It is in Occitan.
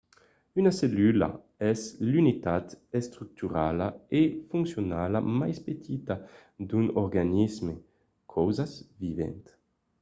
una cellula es l’unitat estructurala e foncionala mai petita d’un organisme causas vivent